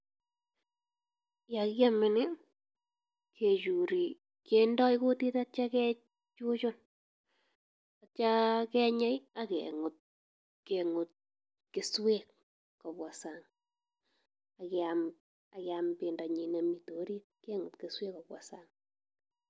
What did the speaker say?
Yon kiome nii, kechure ,kindoo kutit ak yeityoo kuchuchun. Ak yeityoo kenyei ak kengutut keswek. Ak kiam bendanyiin nemi orit kengutut keswek komong sang.